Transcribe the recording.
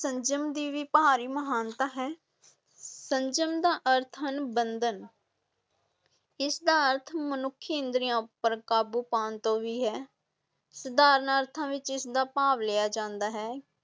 ਸੰਜਮ ਦੀ ਭਾਰੀ ਮਹਾਨਤਾ ਹੈ, ਸੰਜਮ ਦਾ ਅਰਥ ਹਨ ਬੰਧਨ ਇਸ ਦਾ ਅਰਥ ਮਨੁੱਖੀ ਇੰਦਰੀਆਂ ਉੱਪਰ ਕਾਬੂ ਪਾਉਣ ਤੋਂ ਵੀ ਹੈ, ਸਧਾਰਨ ਅਰਥਾਂ ਵਿੱਚ ਇਸ ਦਾ ਭਾਵ ਲਿਆ ਜਾਂਦਾ ਹੈ